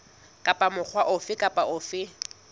kapa mokga ofe kapa ofe